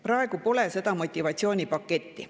Praegu pole seda motivatsioonipaketti.